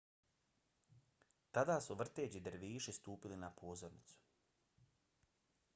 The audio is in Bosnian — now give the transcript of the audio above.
tada su vrteći derviši stupili na pozornicu